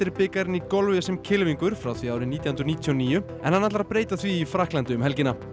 bikarinn frá því árið nítján hundruð níutíu og níu en hann ætlar að breyta því í Frakklandi um helgina